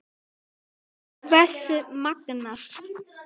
Hversu magnað!